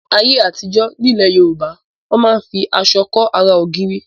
Ní ayé àtijọ́ nílẹ̀ Yorùbá wọn máa ń fi aṣọ kọ́ ara ògiri.